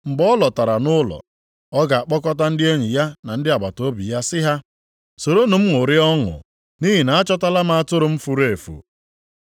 Mgbe ọ lọtara nʼụlọ ya, ọ ga-akpọkọta ndị enyi ya na ndị agbataobi ya sị ha, ‘Soronụ m ṅụrịa ọṅụ nʼihi na achọtala m atụrụ m furu efu.’